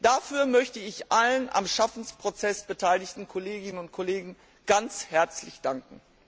Dafür möchte ich allen am Schaffensprozess beteiligten Kolleginnen und Kollegen ganz herzlich danken.